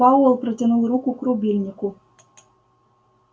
пауэлл протянул руку к рубильнику